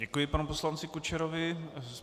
Děkuji panu poslanci Kučerovi.